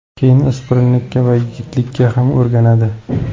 Keyin o‘spirinlikka va yigitlikka ham o‘rganadi.